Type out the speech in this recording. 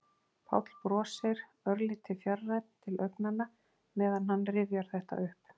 Páll brosir, örlítið fjarrænn til augnanna meðan hann rifjar þetta upp.